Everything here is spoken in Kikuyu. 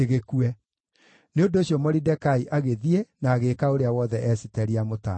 Nĩ ũndũ ũcio Moridekai agĩthiĩ na agĩĩka ũrĩa wothe Esiteri aamũtaarĩte.